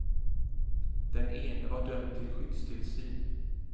Den ene var dömd till skyddstillsyn.